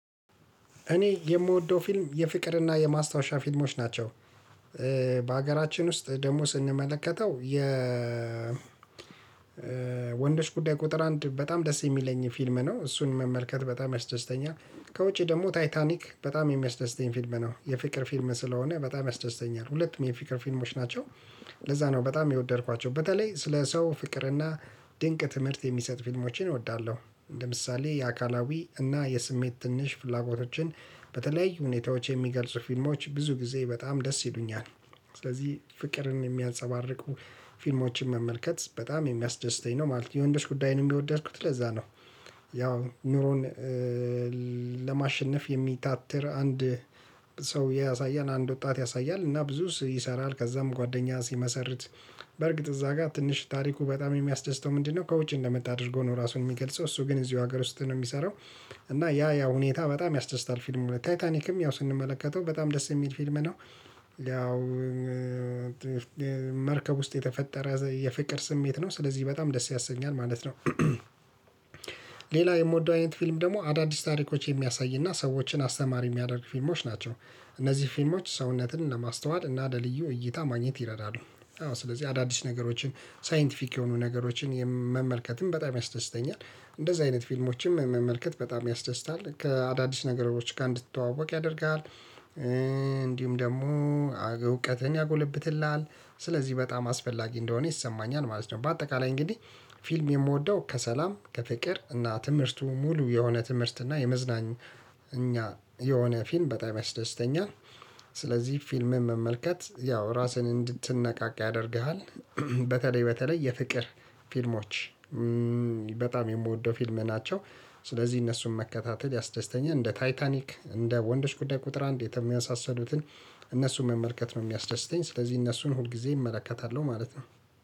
እኔ የምወደው ፊልም የፍቅርና የማስታወሻ ፊልሞች ናቸው። በሀገራችን ውስጥ ደግሞ ስንመለከተው የ ወንዶች ጉዳይ ቁጥር አንድ በጣም ደስ የሚለኝ ፊልም ነው እሱን መመልከት በጣም ያስደስተኛል። ከውጪ ደግሞ ታይታኒክ በጣም የሚያስደስተኝ ፊልም ነው። የፍቅር ፊልም ስለሆነ በጣም ያስደስተኛል። ሁለትም የፍቅር ፊልሞች ናቸው። ለዛ ነው በጣም የወደድኳቸው በተለይ ስለ ሰው ፍቅርና ድንቅ ትምህርት የሚሰጥ ፊልሞችን እወዳለሁ። ለምሳሌ የአካላዊ እና የስሜት ትንሽ ፍላጎቶችን በተለያዩ ሁኔታዎች የሚገልጽ ፊልሞች ብዙ ጊዜ በጣም ደስ ይሉኛል። ስለዚህ ፍቅርን የሚያንፀባርቁ ፊልሞችን መመልከት በጣም የሚያስደስተኝ ነው ማለት ነው። የወንዶች ጉዳይን የሚወደድኩት ለዛ ነው። ያው ኑሮን ለማሸነፍ የሚታተር አንድ ሰው ያሳያል አንድ ወጣት ያሳያል እና ብዙ ይሰራል ከዛም ጓደኛ ሲመሰርት በርግጥ እዛ ጋር ትንሽ ታሪኩ በጣም የሚያስደስተው ምንድነው ከውጭ እንደመጣ አድርጎ ነው ራሱን የሚገልጸው እሱ ግን እዚሁ ሀገር ውስጥ ነው የሚሰራው እና ያ ያ ሁኔታ በጣም ያስደስታል ፊልሙ። ታይታኒክም ያው ስንመለከተው በጣም ደስ የሚል ፊልም ነው ያው መርከብ ውስጥ የተፈጠረ የፍቅር ስሜት ነው። ስለዚህ በጣም ደስ ያሰኛል ማለት ነው። ሌላ የምወደው አይነት ፊልም ደግሞ አዳዲስ ታሪኮች የሚያሳይና ሰዎችን አስተማሪ የሚያደርግ ፊልሞች ናቸው። እነዚህ ፊልሞች ሰውነትን ለማስተዋል እና ለልዩ እይታ ማግኘት ይረዳሉ። አዎ ስለዚህ አዳዲስ ነገሮችን ሳይንቲፊክ የሆኑ ነገሮችን መመልከትም በጣም ያስደስተኛል። እንደዚህ አይነት ፊልሞችም መመልከት በጣም ያስደስታል። ከአዳዲስ ነገሮች ጋር እንድትተዋወቅ ያደርጋል። እንዲሁም ደግሞ እውቀትን ያጎለብትልሃል። ስለዚህ በጣም አስፈላጊ እንደሆነ ይሰማኛል ማለት ነው። በአጠቃላይ እንግዲህ ፊልም የምወደው ከሰላም ከፍቅር እና ትምህርቱ ሙሉ የሆነ ትምህርት እና የመዝናኛ እኛ የሆነ ፊልም በጣም ያስደስተኛል። ስለዚህ ፊልምን መመልከት ያው ራስህን እንድትነቃቃ ያደርግሃል። በተለይ በተለይ የፍቅር ፊልሞች በጣም የምወደው ፊልም ናቸው። ስለዚህ እነሱን መከታተል ያስደስተኛል እንደ ታይታኒክ እንደ ወንዶች ጉዳይ ቁጥር አንድ የተመሳሰሉትን እነሱን መመልከት ነው የሚያስደስተኝ። ስለዚህ እነሱን ሁልጊዜ እመለከታለሁ ማለት ነው።